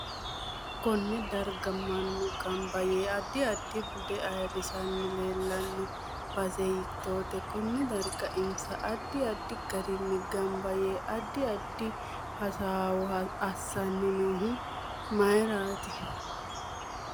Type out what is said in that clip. Konne darga mannu ganba yee addi addi bude ayiirisani leelanno base hiitoote konne darga insa addi addi garinni ganba yee addi addi hasoowo assani noohu myiirati